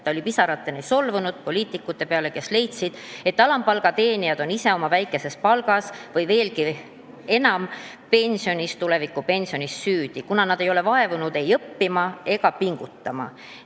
Ta oli pisarateni solvunud poliitikute peale, kes leidsid, et alampalga teenijad on ise oma väikeses palgas, või veelgi enam, tulevikupensionis süüdi, kuna nad ei ole vaevunud ei õppima ega pingutama.